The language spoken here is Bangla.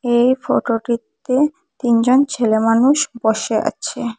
এই ফটোটিতে তিনজন ছেলে মানুষ বসে আছে।